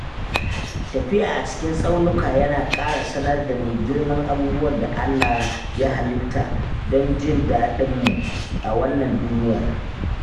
Tafiya a cikin tsaunuka yana ƙara sanar dani girman abubuwan da Allah Ya halitta don jin daɗinmu a wannan duniyar.